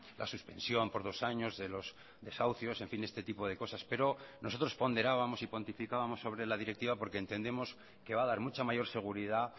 la suspensión por dos años de los desahucios en fin este tipo de cosas pero nosotros ponderábamos y cuantificábamos sobre la directiva porque entendemos que va a dar mucha mayor seguridad